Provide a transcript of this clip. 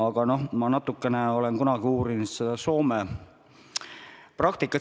Ma olen kunagi natukene uurinud Soome praktikat.